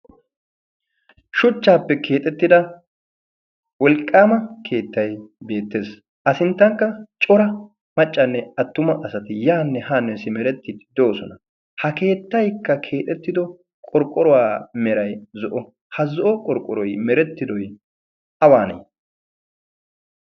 Shuchchaappe keexettida wolqqaama keettay beettees. A sinttankka cora maccanne attuma asati yaanne haane simerettii de'osona. ha keettaykka keexettido qorqqoruwaa meray zo'o ha zo'o qorqqoroy merettidoy awaanee?